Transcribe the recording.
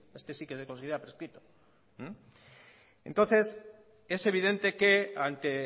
este sí que se considera prescrito entonces es evidente que ante